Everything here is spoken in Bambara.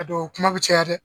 A dɔ o kuma bi caya dɛ.